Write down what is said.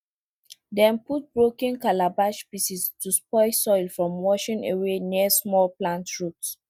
dem put broken calabash pieces to stop soil from washing away near small plant roots